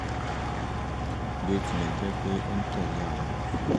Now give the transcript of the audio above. bí ó tilẹ̀ jẹ́ pé ó ń tẹ̀lé àwọn òfin